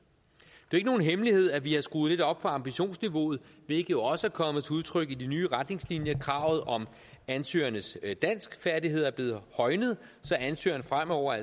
ikke nogen hemmelighed at vi har skruet lidt op for ambitionsniveauet hvilket jo også er kommet til udtryk i de nye retningslinjer kravet om ansøgernes danskfærdigheder er blevet højnet så ansøgerne fremover